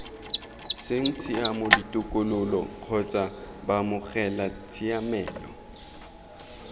seng tshiamo ditokololo kgotsa baamogelatshiamelo